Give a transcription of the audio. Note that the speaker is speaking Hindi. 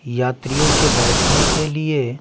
यात्रियों के बैठने के लिए।